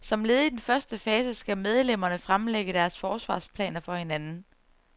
Som led i den første fase skal medlemmerne fremlægge deres forsvarsplaner for hinanden.